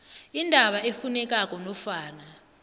indaba efunekako nofana